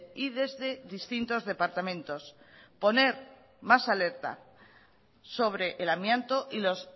y desde distintos departamentos poner más alerta sobre el amianto y los